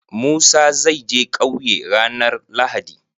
Musa zai je ƙauye ranar lahadi